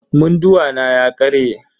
Munduwa na ya karye.